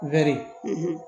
Wari